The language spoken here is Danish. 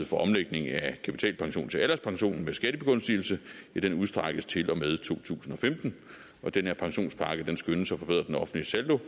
for omlægning af kapitalpension til en alderspension med skattebegunstigelse udstrækkes til og med to tusind og femten den her pensionspakke skønnes at forbedre den offentlige saldo